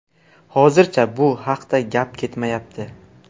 Hozircha bu haqda gap ketmayapti.